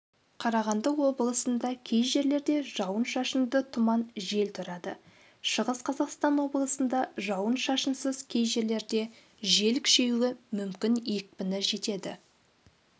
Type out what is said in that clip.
қарағанды облысында кей жерлерде жауын-шашынды тұман жел тұрады шығыс қазақстан облысында жауын-шашынсыз кей жерлерде жел күшеюі мүмкін екпіні жетеді